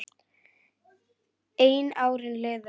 En árin liðu.